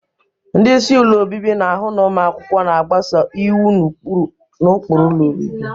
Ndị isi ụlọ obibi na-ahụ na ụmụ akwụkwọ na-agbaso iwu na ụkpụrụ ụlọ obibi.